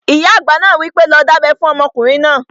Ìyá àgbà náà wí pé, 'lọ dábẹ́ fún ọmọkùnrin náà!"